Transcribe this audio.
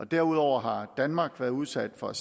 derudover har danmark været udsat for